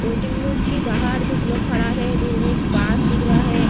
Waiting room के बाहर कुछ लोग खड़ा है दूर में एक बस दिख रहा है।